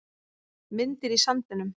Myndir í sandinum